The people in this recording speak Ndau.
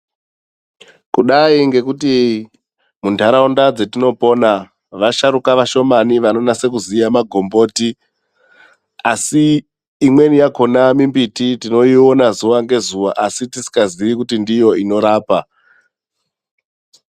Kudai ngekuti muntaraunda dzetinopona, vasharuka vashomane vanonase kuziya magomboti asi imweni yakhona mimbiti tinoiona zuwa ngezuva asi tisingaziyi kuti ndiyo inorapa.